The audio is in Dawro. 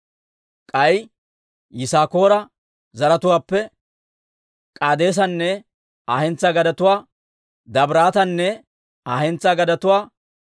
K'ay Yisaakoora zaratuwaappe K'aadeesanne Aa hentsaa gadetuwaa, Dabiraatanne Aa hentsaa gadetuwaa,